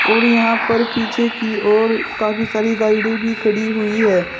और यहां पर पीछे की ओर काफी सारी गाइडें भी खड़ी हुई है।